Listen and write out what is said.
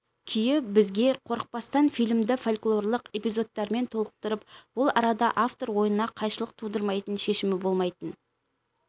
күйі бізге қорықпастан фильмді фольклорлық эпизодтармен толықтырып ол арада автор ойына қайшылық тудырмайтын шешімі болмайтын